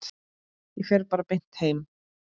Ég fer bara beint heim.